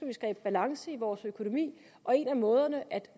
vi skabe balance i vores økonomi og en af måderne at